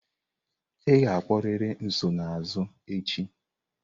Ị ga-akpọrịrị nsonaazụ echi!